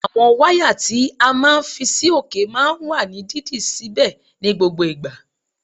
Àwọn wáyà tí a máa ń fi sí òkè máa ń wà ní dídì síbẹ̀ ní gbogbo ìgbà